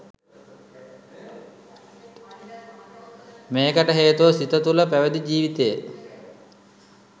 මේකට හේතුව සිත තුළ පැවිදි ජීවිතය